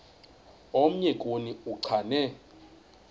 omnye kuni uchane